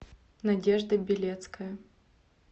надежда белецкая